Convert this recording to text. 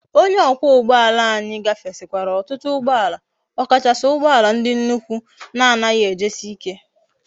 Onye okwa ugboala anyi gafesikwara otutu ugboala okachasi ugboala ndi nnukwu na anaghi eji si ike